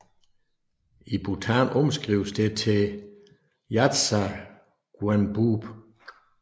I Bhutan omskrives det til yartsa guenboob